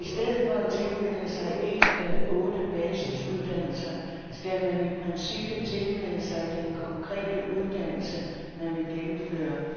I stedet for at tilmelde sig en af otte basisuddannelser, skal man i princippet tilmelde sig den konkrete uddannelse, man vil gennemføre.